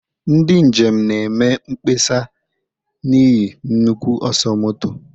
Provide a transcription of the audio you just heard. Ndị njem na-eme mkpesa n'ihi nnukwu ọsọ moto